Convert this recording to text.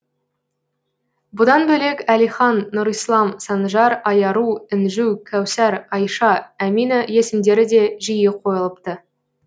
бұдан бөлек әлихан нұрислам санжар айару інжу кәусар айша әмина есімдері де жиі қойылыпты